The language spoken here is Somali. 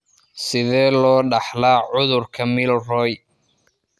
Sidee loo dhaxlaa cudurka Milroy?